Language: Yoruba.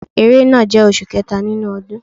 Ẹrẹ́nà jẹ́ oṣù kẹta nínú ọdún.